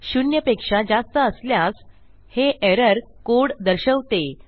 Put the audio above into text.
शून्यपेक्षा जास्त असल्यास हे एरर कोड दर्शवते